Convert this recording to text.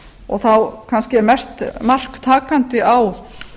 og þá kannski er mest mark takandi á